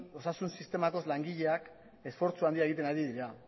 osasun sistemako langileak esfortzu handia egiten ari dira